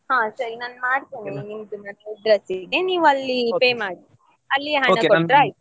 ಹಾ ಸರಿ ನಾನು ಮಾಡ್ತೇನೆ ನಿಮ್ಮದು ಮನೆ address ಗೆ ನೀವು ಅಲ್ಲಿ pay ಮಾಡಿ ಅಲ್ಲಿ ಹಣ ಕೊಟ್ರೇ ಆಯ್ತು.